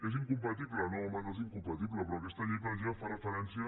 és incompatible no home no és incompatible però aquesta llei per exemple fa referència